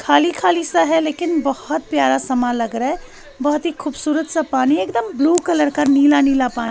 खाली खाली सा हे लेकिन बहोत ही प्यारा सा मा लग रहा है बहोत ही खूबसूरत सा पानी एकदम ब्लू कलर का नीला नीला पानी--